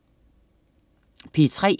P3: